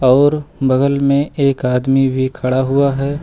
और बगल में एक आदमी भी खड़ा हुआ है।